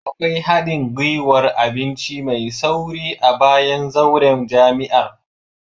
Akwai hadin gwiwar abinci mai sauri a bayan zauren jami'ar